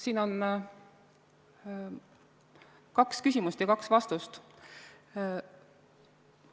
Siin on kaks küsimust ja kaks vastust.